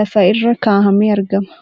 lafa irra kaahamee argama.